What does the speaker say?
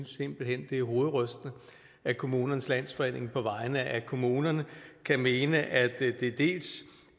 simpelt hen at det er hovedrystende at kommunernes landsforening på vegne af kommunerne kan mene at det dels